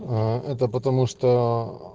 а это потому что